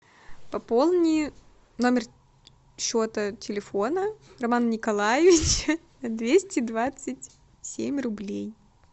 пополни номер счета телефона роман николаевич двести двадцать семь рублей